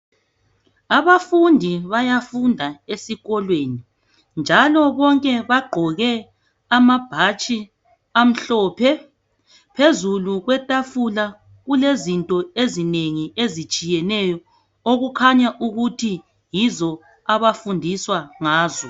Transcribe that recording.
Abafundi bayafunda esikolweni njalo bonke bagqoke amabhatshi amhlophe. Phezulu kwetafula kulezinto ezinengi ezitshiyeneyo okukhanya ukuthi yizo abafundiswa ngazo.